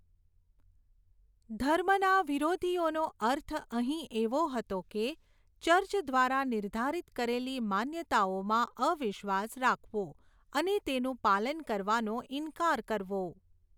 ધર્મના વિરોધીઓનો અર્થ અહીં એવો હતો કે, ચર્ચ દ્વારા નિર્ધારિત કરેલી માન્યતાઓમાં અવિશ્વાસ રાખવો અને તેનું પાલન કરવાનો ઈન્કાર કરવો.